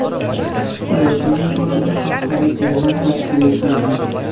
Rejaga ko‘ra, bir haftalik yig‘in tashkil etganmiz.